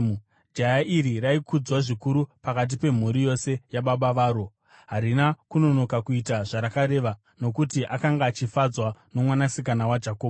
Jaya iri raikudzwa zvikuru pakati pemhuri yose yababa varo, harina kunonoka kuita zvavakareva, nokuti akanga achifadzwa nomwanasikana waJakobho.